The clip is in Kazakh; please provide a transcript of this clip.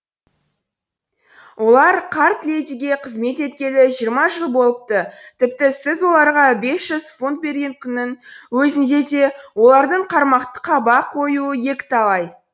олар қарт ледиге қызмет еткелі жиырма жыл болыпты тіпті сіз оларға бес жүз фунт берген күннің өзінде де олардың қармақты қаба қоюы екіталай